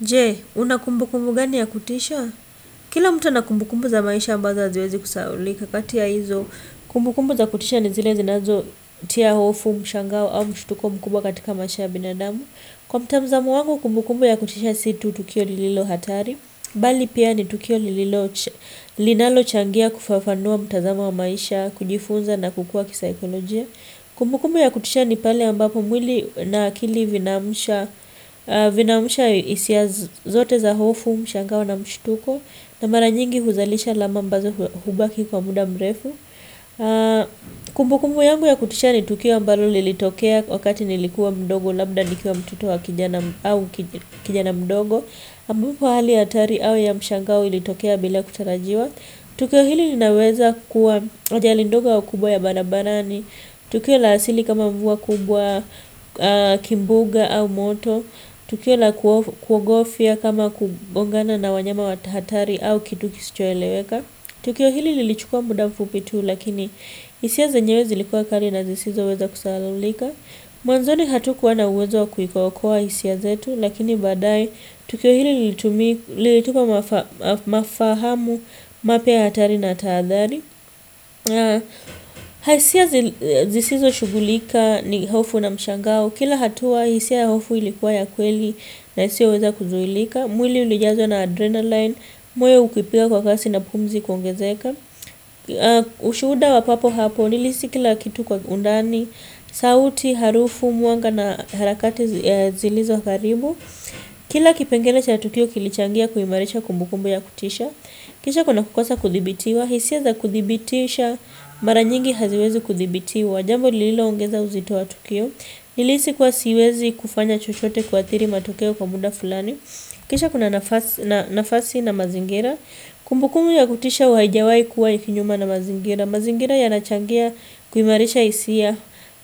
Je, una kumbukumbu gani ya kutisha? Kila mtu ana kumbukumbu za maisha ambazo haziwezi kusahaulika kati ya hizo. Kumbukumbu za kutisha ni zile zinazotia hofu mshangao au mshtuko mkubwa katika maisha ya binadamu Kwa mtazamo wangu, kumbukumbu ya kutisha si tu tukio lililo hatari. Bali pia ni tukio linalochangia kufafanua mtazamo wa maisha, kujifunza na kukua kisaikolojia. Kumbukumbu ya kutisha ni pale ambapo mwili na akili vinaamusha hisia zote za hofu mshangao na mshtuko na mara nyingi huzalisha alama ambazo hubaki kwa muda mrefu. Kumbukumbu yangu ya kutisha ni tukio ambalo lilitokea wakati nilikuwa mdogo labda nikiwa mtoto wa kijana au kijana mdogo ambapo hali hatari au ya mshangao ilitokea bila kutarajiwa. Tukio hili linaweza kuwa ajali ndogo au kubwa ya barabarani, tukio la asili kama mvua kubwa kimbunga au moto, tukio la kuogofya kama kugongana na wanyama wa hatari au kitu kisichoeleweka. Tukio hili lilichukua muda mfupi tu lakini hisia zenyewe zilikuwa kali na zisizoweza kusahaulika. Mwanzoni hatukuwa na uwezo wa kuikokoa hisia zetu lakini baadaye tukio hili lilitupa mafahamu mapya hatari na tahathari Zisizoshughulika ni hofu na mshangao. Kila hatua hisia ya hofu ilikuwa ya kweli na isioweza kuzuilika. Mwili ulijazwa na adrenaline Mwoyo ukipiga kwa kasi na pumzi kuongezeka Ushuhuda wa papo hapo Nilihisi kila kitu kwa undani sauti, harufu, mwanga na harakati zilizo karibu Kila kipengele cha tukio kilichangia kuimarisha kumbukumbu ya kutisha Kisha kuna kukosa kudhibitiwa hisia za kudhibitisha Mara nyingi haziwezi kudhibitiwa Jambo lililoongeza uzito wa tukio Nilihisi kuwa siwezi kufanya chochote kuathiri matokeo kwa muda fulani Kisha kuna nafasi na mazingira Kumbukumbu ya kutisha haijawahi kuwa ya kinyume na mazingira mazingira yanachangia kuimarisha hisia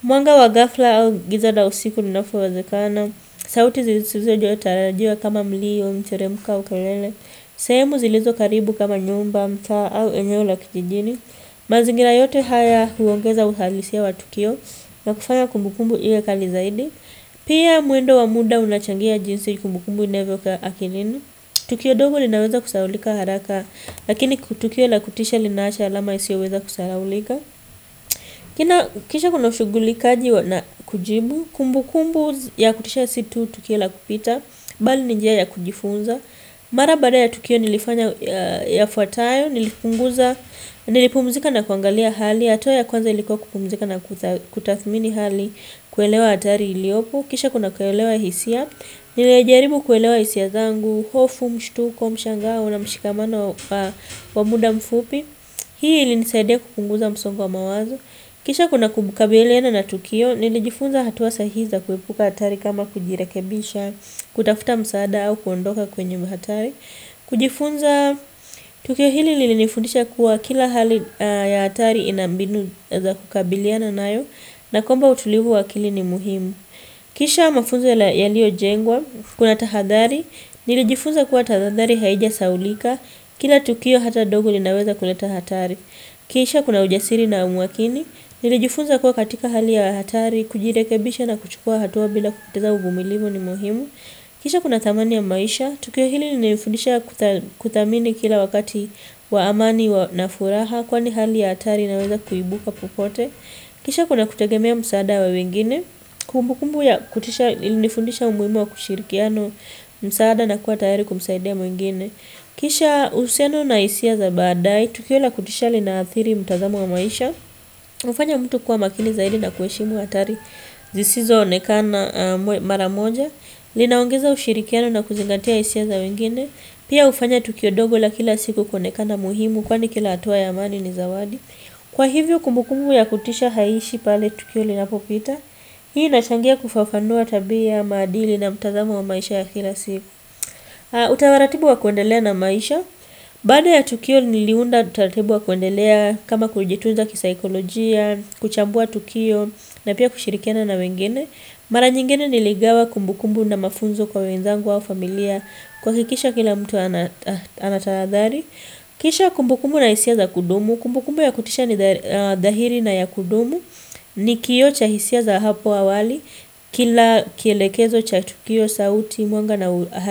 Mwanga wa ghafla au giza la usiku linapowezekana sauti zisizotarajiwa kama mlio au kelele sehemu zilizo karibu kama nyumba mtaa au eneo la kijijini mazingira yote haya huongeza uhalisia wa tukio na kufanya kumbukumbu iwe kali zaidi Pia mwendo wa muda unachangia jinsi kumbukumbu inavyokaa akilini Tukio dogo linaweza kusahaulika haraka Lakini tukio la kutisha linawacha alama isiyoweza kusahaulika Kisha kuna ushughulikaji na kujibu Kumbukumbu ya kutisha si tu tukio la kupita Bali ni njia ya kujifunza Mara baada ya tukio nilifanya yafuatayo Nilipumzika na kuangalia hali hatua ya kwanza ilikuwa kupumzika na kutathmini hali kuelewa hatari iliyopo Kisha kuna kuelewa hisia, nilijaribu kuelewa hisia zangu, hofu mshtuko, mshangao, na mshikamano wa kwa muda mfupi Hii ilinisaidia kupunguza msongo wa mawazo Kisha kuna kukabiliana na tukio, nilijifunza hatua sahihi za kuepuka hatari kama kujirekebisha, kutafuta msaada au kuondoka kwenye hatari kujifunza, tukio hili lilinifundisha kuwa kila hali ya hatari ina mbinu za kukabiliana nayo na kwamba utulivu wa akili ni muhimu Kisha mafunzo yaliojengwa, kuna tahadhari, nilijifunza kuwa tahadhari haijasahaulika, kila tukio hata dogo linaweza kuleta hatari. Kisha kuna ujasiri na umakini, nilijifunza kuwa katika hali ya hatari, kujirekebisha na kuchukua hatua bila kupoteza uvumilivu ni muhimu. Kisha kuna thamani ya maisha, tukio hili lilinifundisha kuthamini kila wakati wa amani na furaha kwani hali ya hatari inaweza kuibuka popote. Kisha kuna kutegemea msaada wa wengine. Kumbukumbu ya kutisha ilinifundisha umuhimu wa kushirikiana msaada na kuwa tayari kumsaidia mwingine. Kisha uhusiano na hisia za baadaye. Tukio la kutisha linaathiri mutazamo wa maisha. Hufanya mtu kuwa makini zaidi na kuheshimu hatari. Zisizoonekana aamwe mara moja. Linaongeza ushirikiano na kuzingatia hisia za wengine. Pia hufanya tukio dogo la kila siku kuonekana muhimu kwani kila hatua ya amani ni zawadi. Kwa hivyo kumbukumbu ya kutisha haishi pale Tukio linapopita, hii inachangia kufafanua tabia ya maadili na mtazamo wa maisha ya kila siku. Utaratibu wa kuendelea na maisha, bada ya Tukio niliunda utaratibu wa kuendelea kama kujitunza kisaikolojia, kuchambua Tukio na pia kushirikiana na wengine. Mara nyingine niligawa kumbukumbu na mafunzo kwa wenzangu au familia kuhakikisha kila mtu anatahadhari. Kisha kumbukumbu na hisia za kudumu, kumbukumu ya kutisha ni dhahiri na ya kudumu ni kioo cha hisia za hapo awali, kila kielekezo cha chukio, sauti, mwanga na.